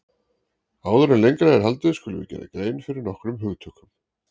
Áður en lengra er haldið skulum við gera grein fyrir nokkrum hugtökum.